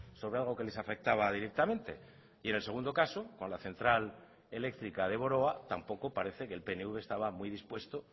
sobre algo que les afectaba directamente y en el segundo caso con la central eléctrica de boroa tampoco parece que el pnv estaba muy dispuesto